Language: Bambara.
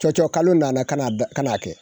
Cɔcɔkalo nana ka na da ka n'a kɛ